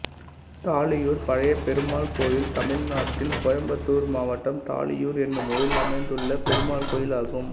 தாளியூர் பழையபெருமாள் கோயில் தமிழ்நாட்டில் கோயம்புத்தூர் மாவட்டம் தாளியூர் என்னும் ஊரில் அமைந்துள்ள பெருமாள் கோயிலாகும்